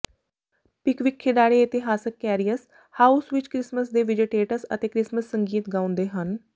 Pickwick ਖਿਡਾਰੀ ਇਤਿਹਾਸਕ ਕੈਰੀਅਸ ਹਾਊਸ ਵਿੱਚ ਕ੍ਰਿਸਮਸ ਦੇ ਵਿਜੇਟੇਟਸ ਅਤੇ ਕ੍ਰਿਸਮਸ ਸੰਗੀਤ ਗਾਉਂਦੇ ਹਨ